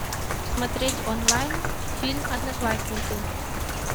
смотреть онлайн фильм одноклассники